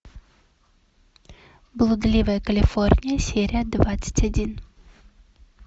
блудливая калифорния серия двадцать один